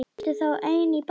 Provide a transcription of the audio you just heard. Ertu þá ein í bænum?